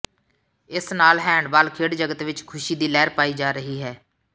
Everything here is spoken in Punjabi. ਇਸ ਨਾਲ ਹੈਂਡਬਾਲ ਖੇਡ ਜਗਤ ਵਿੱਚ ਖੁਸ਼ੀ ਦੀ ਲਹਿਰ ਪਾਈ ਜਾ ਰਹੀ ਹੈ